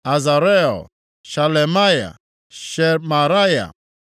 Azarel, Shelemaya, Shemaraya,